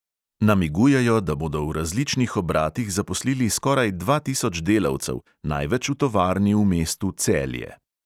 Namigujejo, da bodo v različnih obratih zaposlili skoraj dva tisoč delavcev, največ v tovarni v mestu celje.